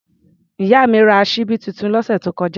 Ìyá mi ra ṣíbí tuntun lọ́sẹ̀ tó kọjá.